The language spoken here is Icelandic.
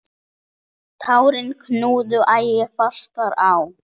Tárin knúðu æ fastar á.